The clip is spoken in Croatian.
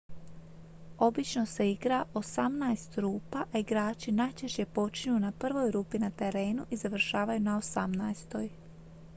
obično se igra osamnaest rupa a igrači najčešće počinju na prvoj rupi na terenu i završavaju na osamnaestoj